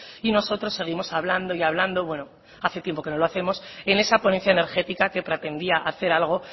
y nosotros seguimos hablando y hablando bueno hace tiempo que no lo hacemos en esa ponencia energética que pretendía hacer algo